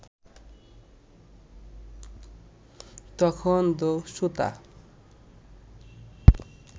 তখন দস্যুতা